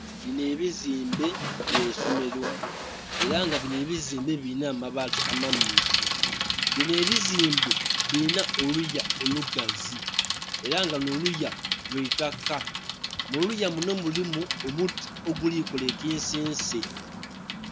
Binho ebizimbe byaisimero era nga binho ebizimbe birinha abaati amammyufu, binho ebizimbe birinha oluya olugazi era nga lunho oluya lwaitaka. Muluya lunho mulimu omuti ogulikola ekisense.